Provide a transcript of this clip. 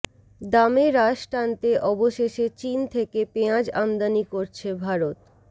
দামে রাশ টানতে অবশেষে চিন থেকে পেঁয়াজ আমদানি করছে ভারত